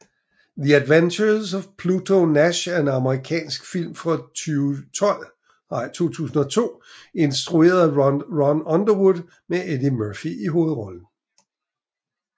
The Adventures of Pluto Nash er en amerikansk film fra 2002 instrueret af Ron Underwood med Eddie Murphy i hovedrollen